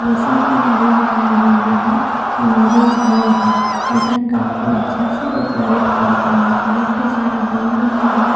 जैसन कि हम देख पा रहिली हा इ मेरेज हॉल है जेकरा काफी अच्छा से डेकोरेट केल गले ह बहुते सारा बैलुन है बहोत --